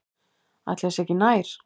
Ætli það sé ekki nær.